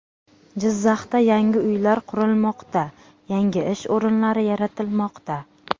Jizzaxda yangi uylar qurilmoqda, yangi ish o‘rinlari yaratilmoqda .